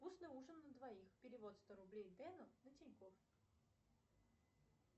вкусный ужин на двоих перевод сто рублей дэну на тинькоф